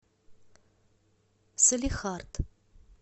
салехард